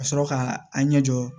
Ka sɔrɔ ka an ɲɛ jɔ